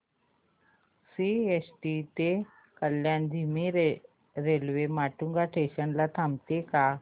CST ते कल्याण धीमी railway Matunga station ला थांबते का